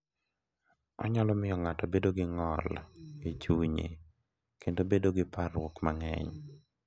Onyalo miyo ng’ato obed gi ng’ol e chuny kendo bedo gi parruok mang’eny.